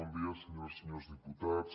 bon dia senyores i senyors diputats